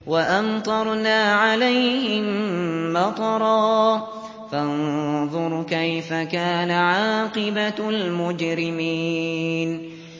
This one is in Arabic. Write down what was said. وَأَمْطَرْنَا عَلَيْهِم مَّطَرًا ۖ فَانظُرْ كَيْفَ كَانَ عَاقِبَةُ الْمُجْرِمِينَ